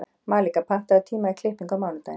Malika, pantaðu tíma í klippingu á mánudaginn.